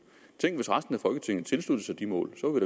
tænk hvis resten af folketinget kunne tilslutte sig de mål så var